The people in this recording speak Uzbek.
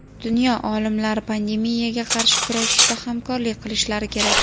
dunyo olimlari pandemiyaga qarshi kurashishda hamkorlik qilishlari kerak.